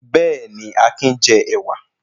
Bẹ́ẹ̀ni, Akin jẹ ẹ̀wà.